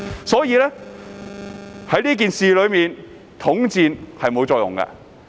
所以，在這件事上，統戰是沒有作用的。